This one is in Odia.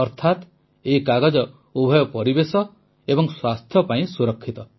ଅର୍ଥାତ ଏହି କାଗଜ ଉଭୟ ପରିବେଶ ଓ ସ୍ୱାସ୍ଥ୍ୟ ପାଇଁ ସୁରକ୍ଷିତ